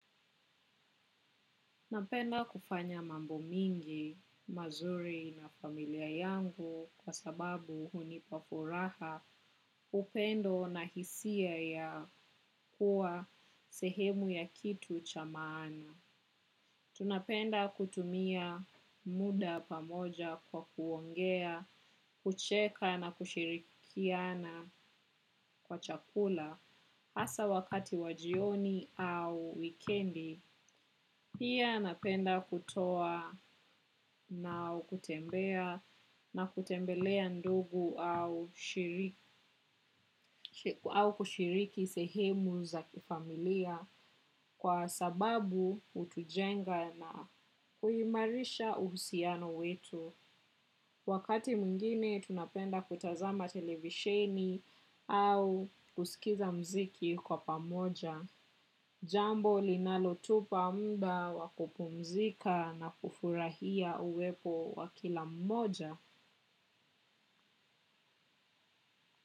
Napenda kufanya mambo mingi, mazuri na familia yangu kwa sababu hunipa furaha, upendo na hisia ya kuwa sehemu ya kitu cha maana. Tunapenda kutumia muda pamoja kwa kuongea, kucheka na kushirikiana kwa chakula. Hasa wakati wa jioni au wikendi, pia napenda kutoa na kutembea na kutembelea ndugu au kushiriki sehemu za kifamilia kwa sababu hutujenga na kuimarisha uhusiano wetu. Wakati mwingine tunapenda kutazama televisheni au kusikiza muziki kwa pamoja. Jambo linalotupa muda wakupumzika na kufurahia uwepo wakila mmoja.